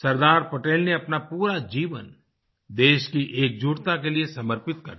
सरदार पटेल ने अपना पूरा जीवन देश की एकजुटता के लिए समर्पित कर दिया